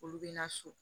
Olu bɛ na so